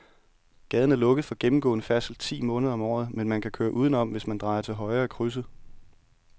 Gaden er lukket for gennemgående færdsel ti måneder om året, men man kan køre udenom, hvis man drejer til højre i krydset.